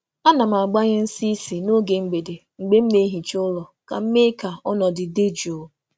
A na m gbanye nsị ísì n’oge mgbede mgbe m um na-ehicha um ụlọ ka m mee ka um ọnọdụ dị jụụ.